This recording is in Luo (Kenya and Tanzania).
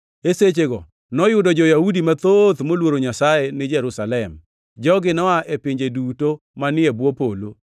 E sechego noyudo jo-Yahudi mathoth moluoro Nyasaye ni Jerusalem. Jogi noa e pinje duto manie bwo polo.